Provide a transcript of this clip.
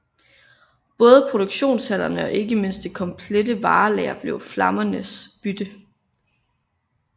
Både produktionshallerne og ikke mindst det komplette varelager blev flammernes bytte